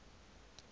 leo mobu o leng ho